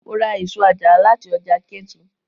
Mo ra èso àjàrà láti ọjà Ketu.